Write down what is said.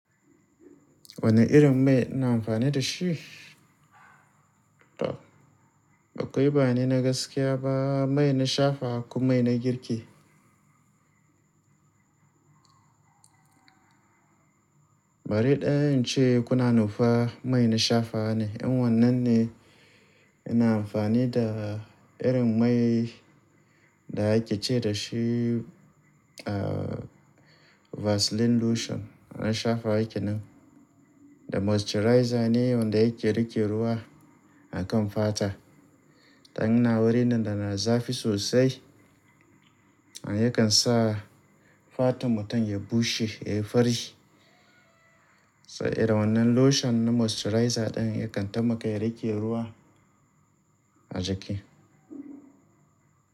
Wane irin mai ina amfani da shi? Akwai bane na gaskiya ba, mai na shafawa ko mai na girki? Bari in ce kuna nufa, mai na shafawa ne. In wannan ne ina amfani da irin mai da ake ce da shi, Vaseline lotion. An shafa yake nan. Da moisturizer ne wanda yake riƙe ruwa a kan fata. Dan ina wurin da na zafi sosai, and ya kan sa fatan mutum ya bushe, ya yi fari. So irin da wannan lotion na moisturizer ɗin ya kan taimaka ya riƙe ruwa a jiki.